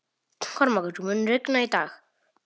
Kormákur, mun rigna í dag?